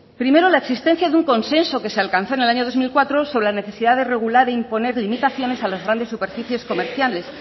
primero la existencia de un consenso que se alcanzó en el año dos mil cuatro sobre la necesidad de regular e imponer limitaciones a los grandes superficies comerciales